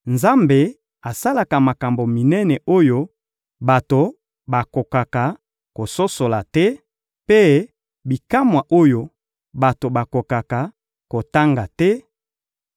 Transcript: Nzambe asalaka makambo minene oyo bato bakokaka kososola te, mpe bikamwa oyo bato bakokaka kotanga te;